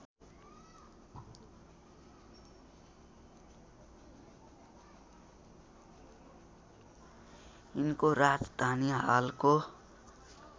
यिनको राजधानी हालको